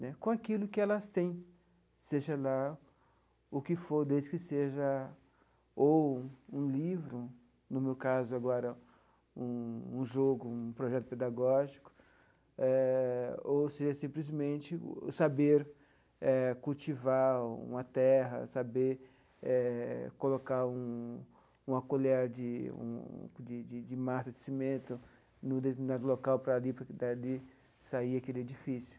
Né com aquilo que elas têm, seja lá o que for, desde que seja ou um livro, no meu caso agora um um jogo, um projeto pedagógico eh, ou seja, simplesmente saber cultivar uma terra, saber eh colocar um uma colher de um de de de massa de cimento no local para ali, para dali sair aquele edifício.